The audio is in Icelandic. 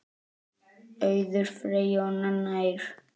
Auður Freyja og Nanna Eir.